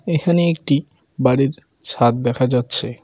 এখানে একটি বাড়ির ছাদ দেখা যাচ্ছে।